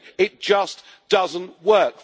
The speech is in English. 50. It just does not work.